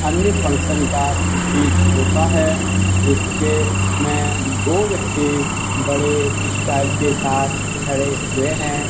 अन्नी फंक्शन का प्रतीत होता है जिसके में दो व्यक्ति बड़े स्टाइल के साथ खड़े हुए हैं।